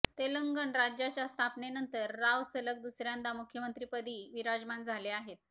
तेलंगण राज्याच्या स्थापनेनंतर राव सलग दुसऱ्यांदा मुख्यमंत्रिपदी विराजमान झाले आहेत